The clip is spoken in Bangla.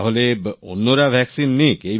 তাহলে অন্যরা ভ্যাক্সিন নিক